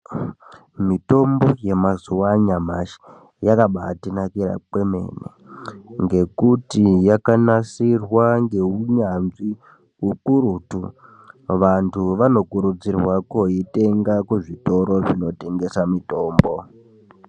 Mitombo yamazuva anyamashi yakabatinakira kwemene. Ngekuti yakanasirwa ngeunyanzvi hukurutu, vantu vanokurudzirwa koitenga kuzvitoro zvinotengesa mitombo.